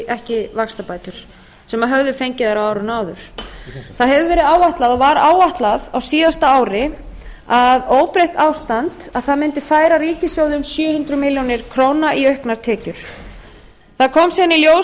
ekki vaxtabætur sem höfðu fengið þær á árinu áður það hefur verið áætlað og var áætlað á síðasta ári að óbreytt ástand mundi færa ríkissjóði um sjö hundruð milljóna króna í auknar tekjur það kom síðan í ljós þegar